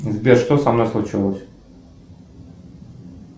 сбер что со мной случилось